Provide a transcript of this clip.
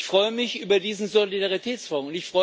Ich freue mich über diesen Solidaritätsfonds.